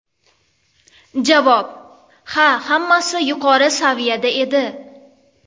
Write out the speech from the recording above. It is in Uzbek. Javob: Ha, hammasi yuqori saviyada edi.